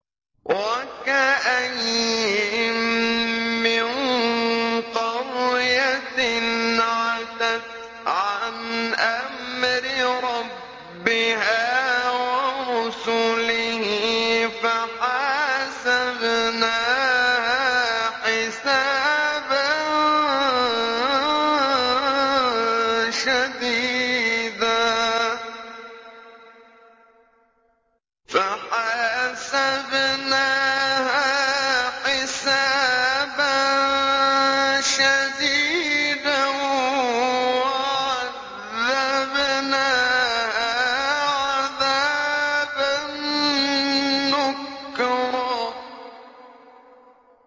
وَكَأَيِّن مِّن قَرْيَةٍ عَتَتْ عَنْ أَمْرِ رَبِّهَا وَرُسُلِهِ فَحَاسَبْنَاهَا حِسَابًا شَدِيدًا وَعَذَّبْنَاهَا عَذَابًا نُّكْرًا